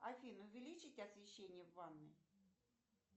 афина увеличить освещение в ванной